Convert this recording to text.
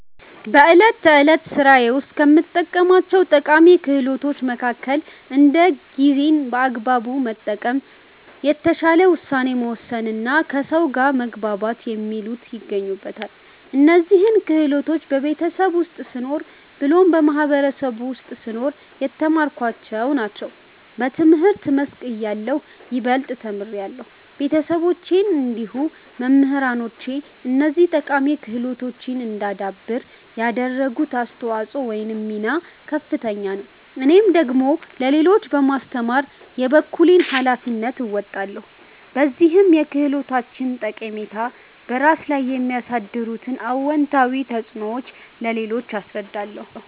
በእለት ተዕለት ስራዬ ውስጥ ከምጠቀማቸው ጠቃሚ ክህሎቶች መከከል እንደ ጊዜን በአግባቡ መጠቀም፣ የተሻለ ውሳኔ መወሰንና ከሰው ጋር መግባባት የሚሉት ይገኙበታል። እነዚህን ክህሎቶች በቤተሰብ ውስጥ ስኖር ብሎም በማህበረሰቡ ውስጥ ስኖር የተማርኳቸውን ናቸው። በትምህርት መስክ እያለሁ ይበልጥ ተምሬያለሁ። ቤተሰቦቼ እንዲሁም መምህራኖቼ እነዚህን ጠቃሚ ክህሎቶች እዳዳብር ያደረጉት አስተዋጽኦ ወይም ሚና ከፍተኛ ነው። እኔም ደግሞ ለሌሎች በማስተማር የበኩሌን ሀላፊነት እወጣለሁ። በዚህም የክህሎቶችን ጠቃሚታ፤ በራስ ላይ የሚያሳድሩት አወንታዊ ተፅዕኖዎች ለሌሎች አስረዳለሁ።